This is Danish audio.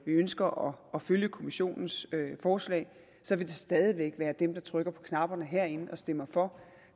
ønsker at følge kommissionens forslag stadig væk være dem der trykker på knapperne herinde og stemmer for